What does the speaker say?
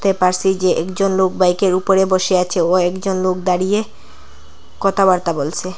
পাশে যে একজন লোক বাইকের উপরে বসে আছে ও একজন লোক দাঁড়িয়ে কথাবার্তা বলসে।